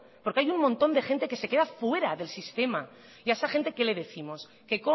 porque hay un montón de gente que se queda fuera del sistema y a esa gente qué le décimos que